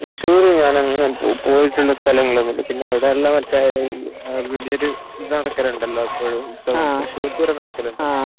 തൃശ്ശൂർ ഞാൻ അങ്ങനെ പോയിട്ടുള്ള സ്ഥലമല്ല പിന്നെ അവിടെ അവിടുത്തെ വലിയൊരു ഇത് നടക്കലുണ്ടല്ലോ തൃശ്ശൂർ പൂരം നടക്കലുണ്ടല്ലോ